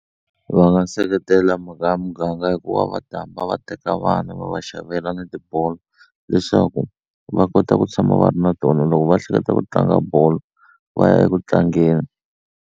Va nga seketela mhaka ya muganga hikuva va ta hamba va teka vana va va xavela ni tibolo leswaku va kota ku tshama va ri na tona loko va hleketa ku tlanga bolo va ya eku tlangeni.